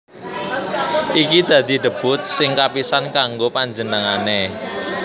Iki dadi debut sing kapisan kanggo panjenengané